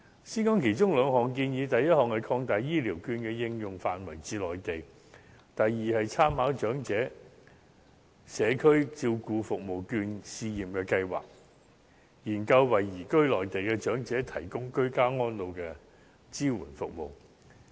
先說其中兩項建議，第一項，擴大醫療券的應用範圍至內地；第二，參考長者社區照顧服務券試驗計劃，研究為移居內地的長者提供居家安老支援服務。